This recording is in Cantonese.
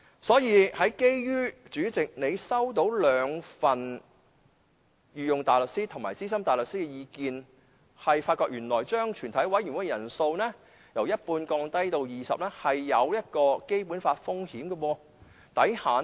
所以，主席，你收到兩份御用大律師和資深大律師的意見，原來將全體委員會的法定人數由一半降至20人，存在違反《基本法》的風險。